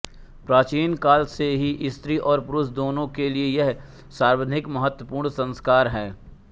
प्राचीन काल से ही स्त्री और पुरुष दोनों के लिये यह सर्वाधिक महत्वपूर्ण संस्कार है